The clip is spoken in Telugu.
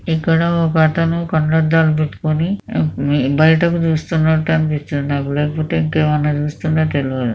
ఇక్కడ ఒక అతను కళ్లద్దాలు పెట్టుకొని బయటకు చూస్తున్నట్టు అనిపిస్తుంది. ఇటుఏనుక ఏమన్నా చూస్తున్నాడో నాకు కూడాతెలియదు.